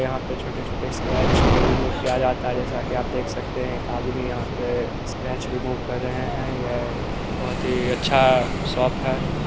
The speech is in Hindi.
यहाँ पे छोटे-छोटे स्क्रैच को रेमोव किया जाता है जेसा कि आप देख सकते एक आदमी यहाँ पे स्क्रैच रेमोव कर रहे है यह बहुत ही अच्छा शॉप है।